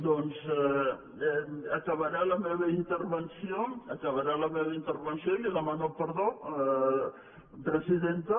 doncs acabaré la meva intervenció acabaré la meva intervenció i li demano perdó presidenta